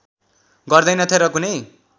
गर्दैनथे र कुनै